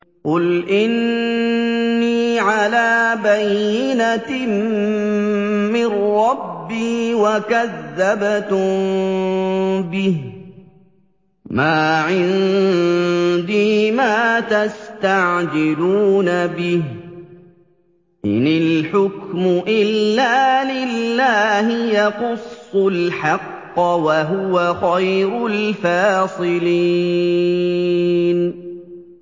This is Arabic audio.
قُلْ إِنِّي عَلَىٰ بَيِّنَةٍ مِّن رَّبِّي وَكَذَّبْتُم بِهِ ۚ مَا عِندِي مَا تَسْتَعْجِلُونَ بِهِ ۚ إِنِ الْحُكْمُ إِلَّا لِلَّهِ ۖ يَقُصُّ الْحَقَّ ۖ وَهُوَ خَيْرُ الْفَاصِلِينَ